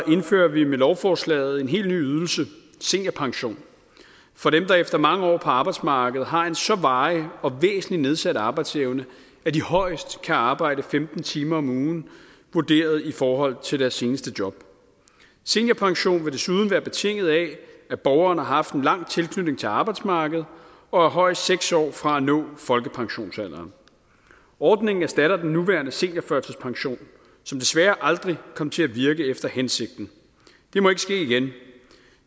indfører vi med lovforslaget en helt ny ydelse seniorpension for dem der efter mange år på arbejdsmarkedet har en så varig og væsentligt nedsat arbejdsevne at de højst kan arbejde femten timer om ugen vurderet i forhold til deres seneste job seniorpension vil desuden være betinget af at borgerne har haft en lang tilknytning til arbejdsmarkedet og er højst seks år fra at nå folkepensionsalderen ordningen erstatter den nuværende seniorførtidspension som desværre aldrig kom til at virke efter hensigten det må ikke ske igen